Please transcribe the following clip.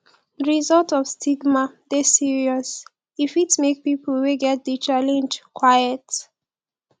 di result of stigma dey serious e fit make pipo wey get di challenge quiet